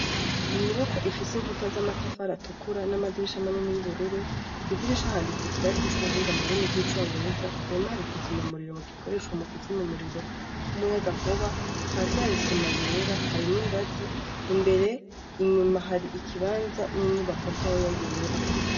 Inyubako ifise inkuta z'amatafaratukura n'amadirisha manene y'ubururu kwidirisha handitsi kirasi c'ubuhinga mu rurimi rw'icongereza kurumaharikiza imyamuriro mu gikoreshwa mu kuzinya muriro w'umuyaga nkuba hasi hari isima yera hari n'ingazi imbere inyuma hari ikibanza n'inyubako ntoya yera.